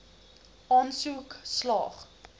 aansoek slaag